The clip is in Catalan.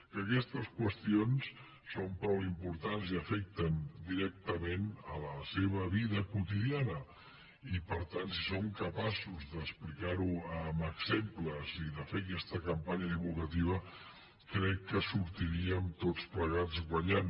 que aquestes qüestions són prou importants i afecten directament la seva vida quotidiana i per tant si som capaços d’explicar ho amb exemples i de fer aquesta campanya divulgativa crec que hi sortiríem tots plegats guanyant